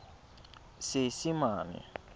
seesimane